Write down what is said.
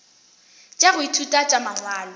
tša go ithuta tša mangwalo